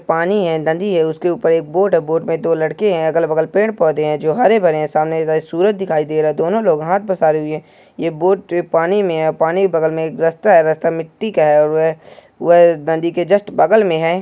पानी है नदी नदी के ऊपर--